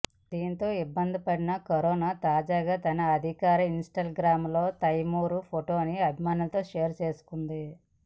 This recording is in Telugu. దాంతో ఇబ్బంది పడిన కరీనా తాజాగా తన అధికారిక ఇన్ స్తాగ్రాం లో తైమూర్ ఫోటోని అభిమానులతో షేర్ చేసుకుంది